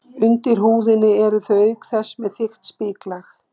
Undir húðinni eru þau auk þess með þykkt spiklag.